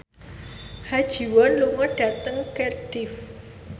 Ha Ji Won lunga dhateng Cardiff